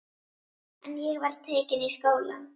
En ég var tekin í skólann.